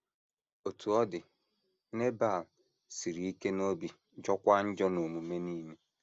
Otú ọ dị, Nebal “ siri ike n’obi, jọọkwa njọ n’omume nile. ”